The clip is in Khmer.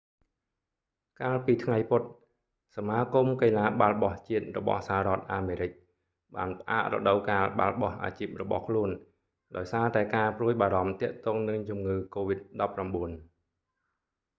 កាលពីថ្ងៃពុធ សមាគមកីឡាបាល់បោះជាតិរបស់សហរដ្ឋអាមេរិក nba បានផ្អាករដូវកាលបាល់បោះអាជីពរបស់ខ្លួន ដោយសារតែការព្រួយបារម្ភទាក់ទងនឹងជំងឺកូវីដ-19